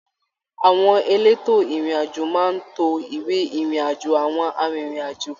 Àwọn èlétò ìrìn àjò máa n to ìwé ìrìn àjò awọn arinrin-ajo